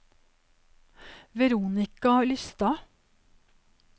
Veronica Lystad